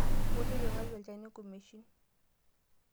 Wou tipikaki olchani nkumeshin.